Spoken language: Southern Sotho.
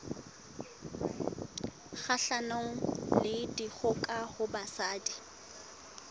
kgahlanong le dikgoka ho basadi